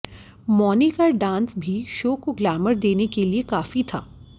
मौनी का डांस भी शो को ग्लैमर देने के लिए काफी था